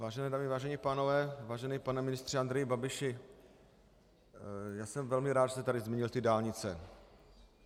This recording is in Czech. Vážené dámy, vážení pánové, vážený pane ministře Andreji Babiši, já jsem velmi rád, že jste tady zmínil ty dálnice.